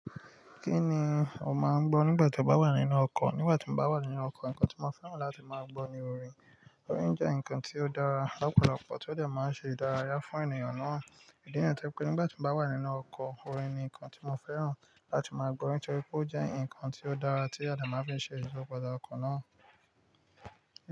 Kí ni o máa ń gbọ́ nígbà tí o bá wà nínú ọkọ̀? Nígbà tí mo bá wà nínú ọkọ̀, nǹkan tí mo fẹ́ràn láti máa gbọ́ ni orin. Orin jẹ́ nǹkan tí ó dára lápòlopò tí ó jẹ́ máa ń ṣe ìdárayá fún ènìyàn náà. Ìdí nìyẹn tí pé nígbà tí mo bá wà nínú ọkọ̀, orin ni nǹkan tí mo fẹ́ràn láti máa gbọ́ nítorí pé ó jẹ́ nǹkan tí ó dára tí ade máa ń fi ṣe ìyipa dá ọkọ̀ náà.